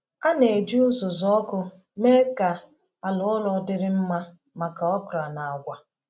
A na-eji uzuzu ọkụ mee ka ala ụrọ dịrị mma maka okra na agwa.